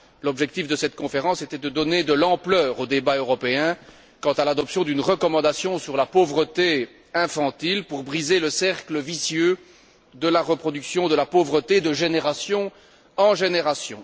L'objectif de cette conférence était de donner de l'ampleur aux débats européens quant à l'adoption d'une recommandation sur la pauvreté infantile pour briser le cercle vicieux de la reproduction de la pauvreté de génération en génération.